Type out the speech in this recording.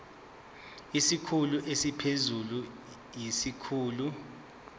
isikhulu esiphezulu siyisikhulu